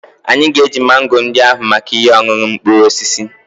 Anyị ga-eji mango ndị ahụ maka ihe ọṅụṅụ mkpụrụ osisi